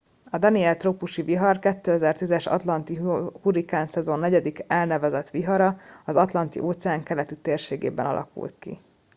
a danielle trópusi vihar a 2010 es atlanti hurrikánszezon negyedik elnevezett vihara az atlanti óceán keleti térségében alakult ki